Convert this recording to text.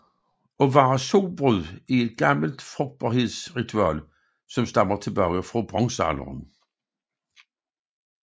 At være solbrud er et gammelt frugtbarhedsritual som stammer tilbage fra bronzealderen